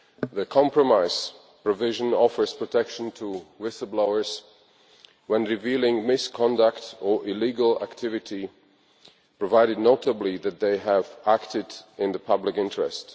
The compromise provision offers protection to whistle blowers when revealing misconduct or illegal activity, provided notably that they have acted in the public interest.